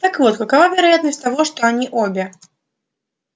так вот какова вероятность того что они обе